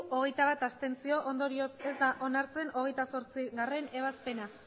hogeita bat ondorioz ez da onartzen hogeita zortzigarrena ebazpena